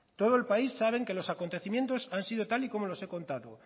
todo el país sabe que los acontecimientos han sido tal y como los he contado